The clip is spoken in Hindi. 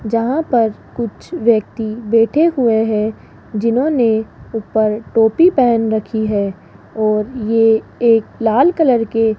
जहां पर कुछ व्यक्ति बैठे हुए हैं जिन्होंने ऊपर टोपी पहन रखी है और ये एक लाल कलर के --